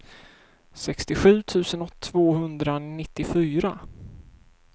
sextiosju tusen tvåhundranittiofyra